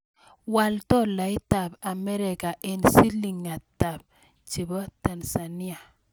Wal tolaitap Amerika eng' silingiitap Tanzania